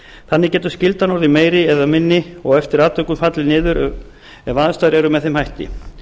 þannig getur skyldan orðið meiri eða minni og eftir atvikum fallið niður ef aðstæður eru með þeim hætti